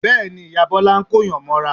Bẹ́ẹ̀ ni, ìyá Bọ́lá ń kóyàn mọ́ra